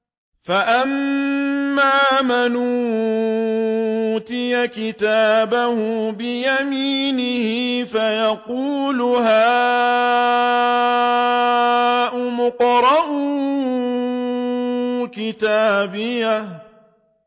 فَأَمَّا مَنْ أُوتِيَ كِتَابَهُ بِيَمِينِهِ فَيَقُولُ هَاؤُمُ اقْرَءُوا كِتَابِيَهْ